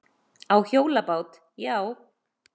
Á hjólabát, já.